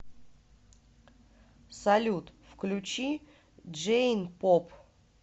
салют включи джейн поп